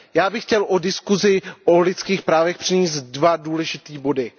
Já bych chtěl k diskuzi o lidských právech přinést dva důležité body.